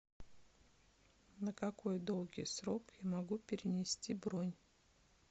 на какой долгий срок я могу перенести бронь